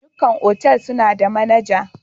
Ɗukan otal suna da manaja.